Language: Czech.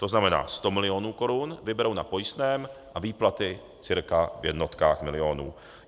To znamená, 100 milionů korun vyberou na pojistném a výplaty cca v jednotkách milionů.